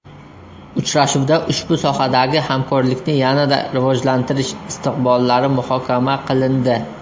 Uchrashuvda ushbu sohadagi hamkorlikni yanada rivojlantirish istiqbollari muhokama qilindi.